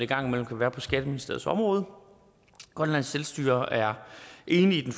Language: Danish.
gang imellem kan være på skatteministeriets område grønlands selvstyre er enig i den